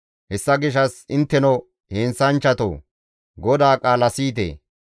«Hessa gishshas intteno, heenththanchchatoo, GODAA qaala siyite!